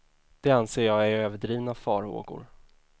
Det anser jag är överdrivna farhågor.